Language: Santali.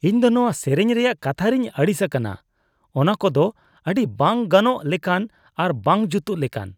ᱤᱧ ᱫᱚ ᱱᱚᱣᱟ ᱥᱮᱨᱮᱧ ᱨᱮᱭᱟᱜ ᱠᱟᱛᱷᱟ ᱨᱮᱧ ᱟᱹᱲᱤᱥ ᱟᱠᱟᱱᱟ ᱾ ᱚᱱᱟ ᱠᱚᱫᱚ ᱟᱹᱰᱤ ᱵᱟᱝ ᱜᱟᱱᱚᱜ ᱞᱮᱠᱟᱱ ᱟᱨ ᱵᱟᱝ ᱡᱩᱛᱩᱜ ᱞᱮᱠᱟᱱ ᱾